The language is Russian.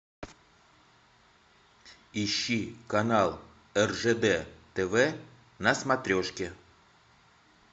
ищи канал ржд тв на смотрешке